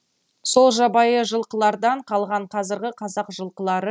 сол жабайы жылқылардан қалған қазіргі қазақ жылқылары